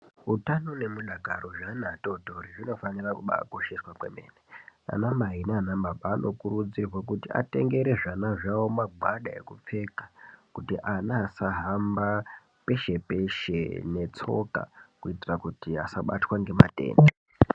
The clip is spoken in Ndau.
Utano nemudakaro zveana atotori zvinofanira kubaakosheswa kwemene. Anamai naanababa anokurudzirwe kuti atengere zvana zvavo magwada ekupfeka, kuti ana asahamba peshe-peshe, ere netsoka kuitira kuti asabatwa ngematenda.